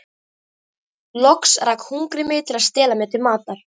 Loks rak hungrið mig til að stela mér til matar.